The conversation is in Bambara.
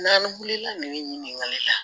N'an wulila nin ɲininkali la